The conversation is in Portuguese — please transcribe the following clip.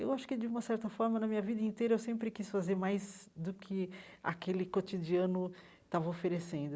Eu acho que, de uma certa forma, na minha vida inteira, eu sempre quis fazer mais do que aquele cotidiano estava oferecendo.